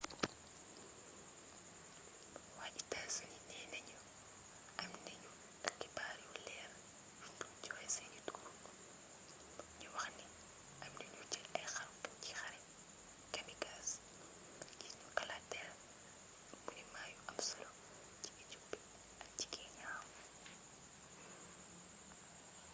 waa états-unis neena ñu am nañu xibaar yu leer yuñ dul joxe seeni tur ñu waxni amna ñuy jël ay xarukat ci xare” kamikaze ngir ñu kalaateel monument yu am solo ci éthiopie ak ci kenya